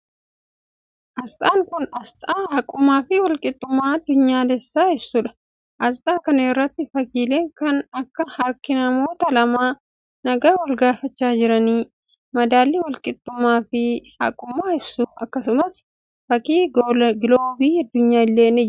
Asxaan kun, asxaa haqummaa fi walqixxummaa addunyaalessaa ibsuu dha. Asxaa kana irratti fakkiileen kan akka: harki namoota lamaa nagaa wal gaafachaa jiranii, madaalli walqixxummaa fi haqummaa ibsu akkasumas fakkiin giloobii addunyaa illee ni jira.